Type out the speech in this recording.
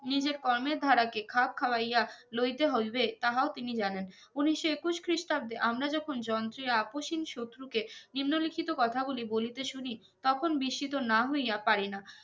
নিজের কর্মের ধারাকে খাপ খাওইয়া লইতে হইবে তাহা ও তিনি জানেন উনিশশো একুশ খ্রিস্টাব্দে আমরা যখন যন্ত্রে আপোষ হীন শত্রুকে নিম্নলিখিত কথা গুলি বলিতে শুনি তখন বৃশ্ৰিত না হইয়া পারিনা